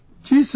Ji Sir